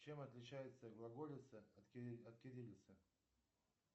чем отличается глаголица от кириллица